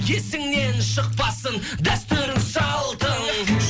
есіңнен шықпасын дәстүрің салтың